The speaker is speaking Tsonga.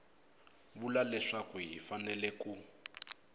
vula leswaku hi fanele ku